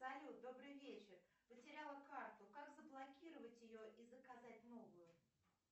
салют добрый вечер потеряла карту как заблокировать ее и заказать новую